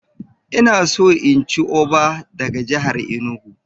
Ina so in ci Oɓa daga jihar Enugu.